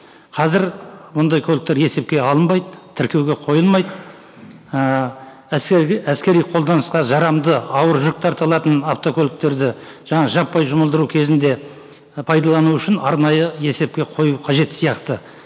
қазір ондай көліктер есепке алынбайды тіркеуге қойылмайды ііі әскери қолданысқа жарамды ауыр жүк тарта алатын автокөліктерді жаңа жаппай жұмылдыру кезінде і пайдалану үшін арнайы есепке қою қажет сияқты